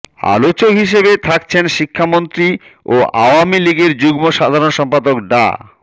আলোচক হিসেবে থাকছেন শিক্ষামন্ত্রী ও আওয়ামী লীগের যুগ্ম সাধারণ সম্পাদক ডা